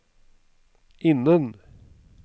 innen